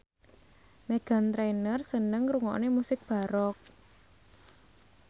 Meghan Trainor seneng ngrungokne musik baroque